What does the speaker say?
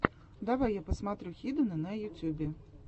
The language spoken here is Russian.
давай я посмотрю хидена на ютьюбе